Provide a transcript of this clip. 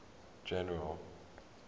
general